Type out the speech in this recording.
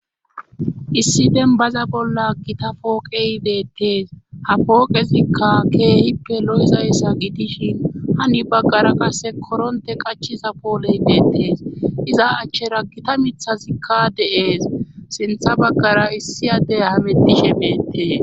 Issi denbaza bolla gita pooqehbeettees ha pooqezikka keehippe lo7zayssa gidishin hani baggara qasse koronte qachiza pooleybeettees iza achchera gita mithazikka deees sintha baggara issi addey hametishe beettees